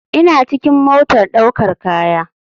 ina cikin motar daukar kaya